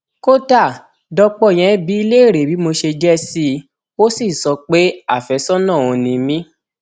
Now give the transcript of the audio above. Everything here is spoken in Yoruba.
kódà dọpọ yẹn bi í léèrè bí mo ṣe jẹ sí i ó sì sọ pé àfẹsọnà òun ni mí